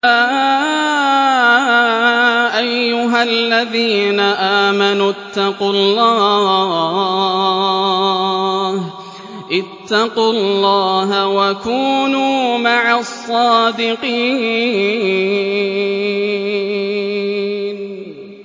يَا أَيُّهَا الَّذِينَ آمَنُوا اتَّقُوا اللَّهَ وَكُونُوا مَعَ الصَّادِقِينَ